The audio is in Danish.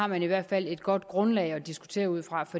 man i hvert fald har et godt grundlag at diskutere ud fra